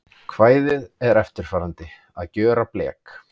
Kvæðið er eftirfarandi: Að gjöra blek